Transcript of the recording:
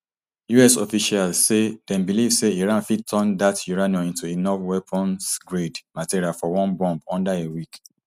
us officials say dem believe say iran fit turn dat uranium into enough weaponsgrade material for one bomb under a week